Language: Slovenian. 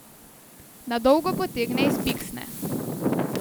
Na dolgo potegne iz piksne.